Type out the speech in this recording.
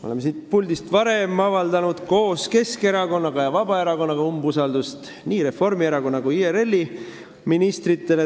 Oleme siit puldist varem koos Keskerakonna ja Vabaerakonnaga avaldanud umbusaldust nii Reformierakonna kui ka IRL-i ministritele.